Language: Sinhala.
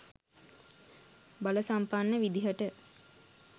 බල සම්පන්න විදිහට